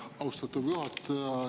Austatud juhataja!